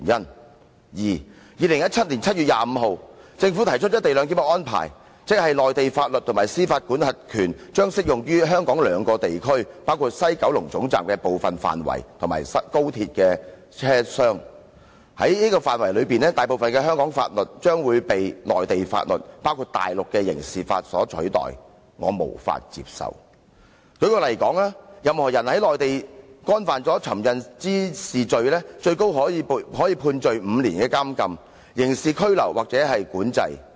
第二 ，2017 年7月25日，政府提出"一地兩檢"的安排：即內地法律及司法管轄權將適用於香港兩個地區，包括西九龍總站的部分範圍及高鐵車廂。在這些範圍內，大部分的香港法律將會被內地法律所取代，我無法接受。第三，舉例而言，任何人在內地干犯尋釁滋事罪，最高可判處5年監禁、刑事拘留或管制。